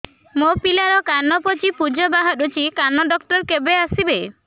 ମୋ ପିଲାର କାନ ପାଚି ପୂଜ ବାହାରୁଚି କାନ ଡକ୍ଟର କେବେ ଆସିବେ